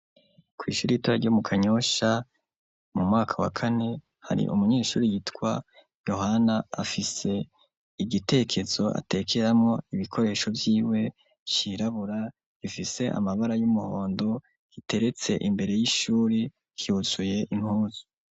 Kw'ishura ita ryo mu kanyosha mu mwaka wa kane hari umunyeshuri yitwa yohana afise igitekezo atekeramo ibikoresho vyiwe sirabura ifise amabara y'umuhondo iteretse imbere y'ishuri kyuzuye impuzu.